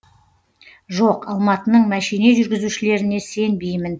жоқ алматының мәшине жүргізушілеріне сенбеймін